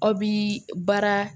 Aw bi baara